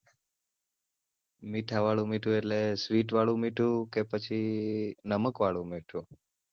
મીઠા વાળું મીઠું અટલે sweet વાળું મીઠું કે પછી નમક વાળું મીઠું?